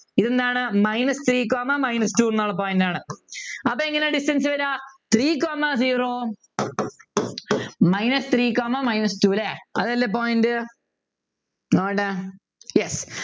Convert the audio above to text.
ഇതെന്താണ് minus three comma minus two എന്നുള്ള point ആണ് അപ്പൊ എങ്ങനെയാ distance വരിക three comma zero minus three comma minus two ല്ലേ അതല്ലേ point നോട്ടെ yes